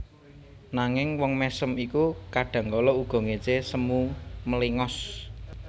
Nanging wong mèsem iku kadhangkala uga ngécé semu mléngos